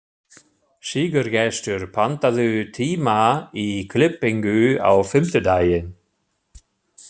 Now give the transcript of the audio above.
Sigurgestur, pantaðu tíma í klippingu á fimmtudaginn.